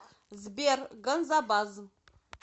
сбер ганзабаз